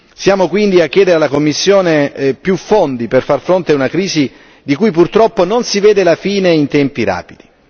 Siamo quindi a chiedere alla Commissione più fondi per far fronte a una crisi di cui purtroppo non si vede la fine in tempi rapidi.